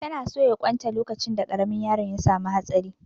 Ta na soya ƙwan ta lokacin da ƙaramin yaron ya samu hatsari